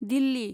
Delhi